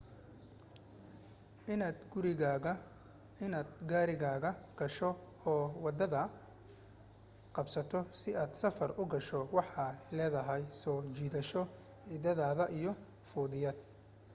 inaad gaarigaaga gasho oo waddada qabsato si aad safar u gasho waxay leedahay soo jiidasho iddeeda iyo fudayd